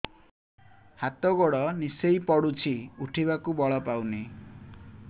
ହାତ ଗୋଡ ନିସେଇ ପଡୁଛି ଉଠିବାକୁ ବଳ ପାଉନି